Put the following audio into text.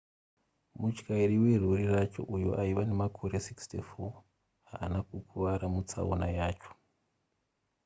mutyairi werori racho uyo aiva nemakore 64 haana kukuvara mutsaona yacho